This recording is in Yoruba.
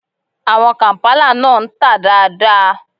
Àwọn kàǹpálà náà ń tà dáa dáa.